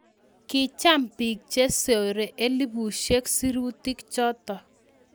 Kicham pick chesore elepushek sirutik chotok.